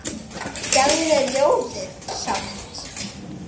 Gefur mér ljóðið samt.